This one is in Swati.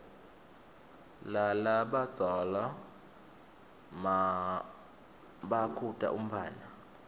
lalabadzala nmabakhuta umntfwana